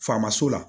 Faamaso la